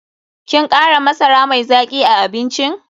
Kin kara masara mai zaki a abincin?